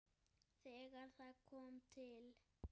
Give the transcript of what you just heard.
Þegar það kom til